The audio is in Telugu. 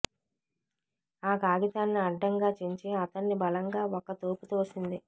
ఆ కాగితాన్ని అడ్డంగా చించి అతన్ని బలంగా ఒక్క తోపు తోసింది